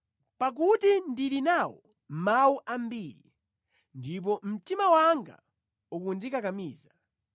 Pakuti ndili nawo mawu ambiri, ndipo mtima wanga ukundikakamiza;